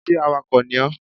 Sé awakọ̀ ni ọ?